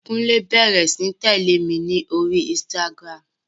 Kúnlé bẹrẹ sí ní tẹ̀lẹ́ mi ní orí Instagram.